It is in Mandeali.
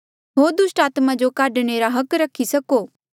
होर दुस्टात्मा जो काढणे रा हक रखी सको